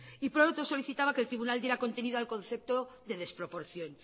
y por otro solicitaba que el tribunal diera contenido al concepto de desproporción